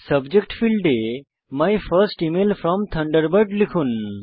subject ফীল্ডে my first email from Thunderbird লিখুন